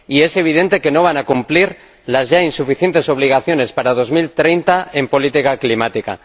y es evidente que no van a cumplir las ya insuficientes obligaciones para 2030 en política climática.